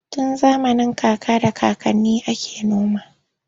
Tun zamanin kaka da kakanni ake noma.